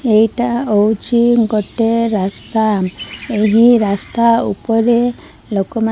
ଏଇଟା ହଉଚି ଗୋଟେ ରାସ୍ତା ଏହି ରାସ୍ତା ଉପରେ ଲୋକମାନେ --